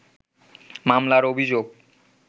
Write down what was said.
মামলার অভিযোগ